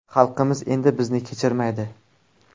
Xalqimiz endi bizni kechirmaydi.